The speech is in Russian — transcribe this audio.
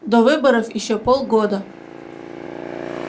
до выборов ещё полгода